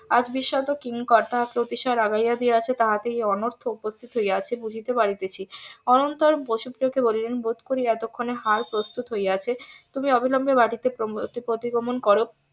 আজ . কিঙ্কর তাহাকে অতিশয় রাগাইয়া দিয়েছে তাহাতে এই অনর্থক উপস্থিত হইয়াছে বুঝিতে পারিতেছি অনন্তর বসু প্রিয় কে বলিলেন বোধ করি এতক্ষনে হার প্রস্তুত হইয়াছে তুমি অবিলম্বে বাটিতে একটি প্রতিগমন করো